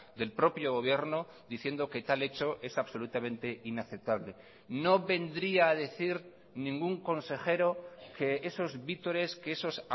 del propio gobierno diciendo que tal hecho es absolutamente inaceptable no vendría a decir ningún consejero que esos vítores que esos